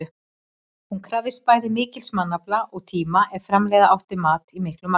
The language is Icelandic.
Hún krafðist bæði mikils mannafla og tíma ef framleiða átti mat í miklu magni.